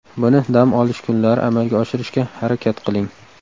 Buni dam olish kunlari amalga oshirishga harakat qiling.